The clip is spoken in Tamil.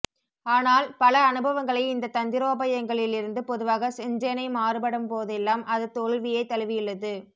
ஆனால் பல அனுபவங்களை இந்தத் தந்திரோபாயங்களிலிருந்து பொதுவாக செஞ்சேனை மாறுபடும் போதெல்லாம் அது தோல்வியே தழுவியது